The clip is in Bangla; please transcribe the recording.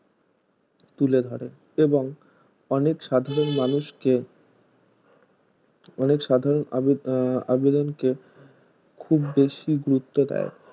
তুলে ধরে এবং অনেক সাধারণ মানুষ কে অনেক সাধারণ আহ আবেদন কে খুব বেশি গুরুত্ব দেয়